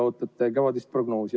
Ootate kevadist prognoosi.